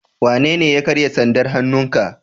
Wanene ya karya sandar hannun ka?